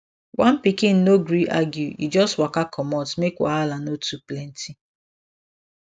one pikin no gree argue e just waka komot make wahala no too plenty